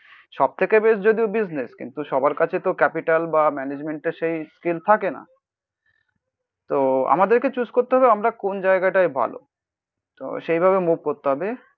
সব থেকে বেশ যদিও বিজনেস কিন্তু সবার কাছে তো ক্যাপিটাল বা ম্যানেজমেন্ট এ সেই স্টিল থাকে না তো আমাদেরকে চুজ করতে হবে আমরা কোন জায়গাটায় ভালো. তো সেইভাবে মুভ করতে হবে.